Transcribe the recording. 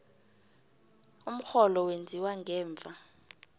umrholo wenziwa ngemva